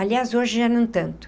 Aliás, hoje já não tanto.